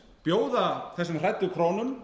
bjóða þessum hræddu krónum